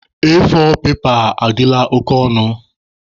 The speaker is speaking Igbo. A4 pepa adịla oke ọnụ.